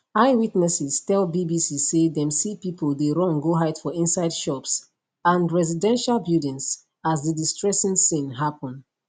eyewitnesses tell bbc say dem see pipo dey run go hide for inside shops and residential buildings as di distressing scene happun